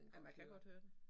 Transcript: Ja man kan godt høre det